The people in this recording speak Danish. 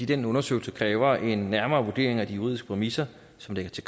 den undersøgelse kræver en nærmere vurdering af de juridiske præmisser som ligger til